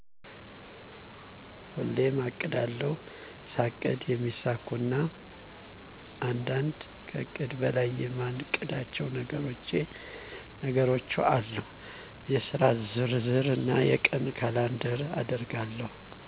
ሁሌሜ አቅዳለሁ። ሳቅድ የማሚሳኩኩ እና አንዳንዴ ከእቅድ በላይ የማቅዳቸው ነገሮቼ አሉ የስራ ዝርዝር እና የቀን ካላንደር አደርጋለሁ